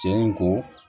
Cɛ in ko